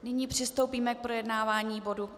Nyní přistoupíme k projednávání bodu